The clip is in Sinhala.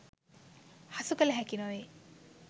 හසු කළ හැකි නොවේ.